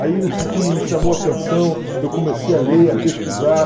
Aí esse filme me chamou a atenção, eu comecei a ler, a pesquisar.